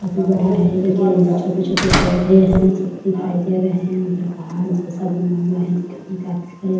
काफी बड़ा है देखिए जो छोटे-छोटे पौधे हैं सब दिखाई दे रहे हैं उधर पहाड़ जैसा बना हुआ है देखने में काफी बड़े --